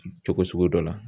Cogo sugu dɔ la